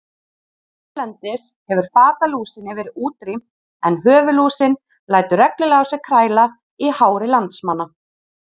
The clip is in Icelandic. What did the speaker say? Hérlendis hefur fatalúsinni verið útrýmt en höfuðlúsin lætur reglulega á sér kræla í hári landsmanna.